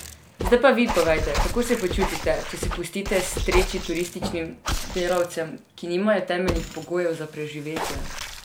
Zdaj pa vi povejte, kako se počutite, če se pustite streči turističnim delavcem, ki nimajo temeljnih pogojev za preživetje?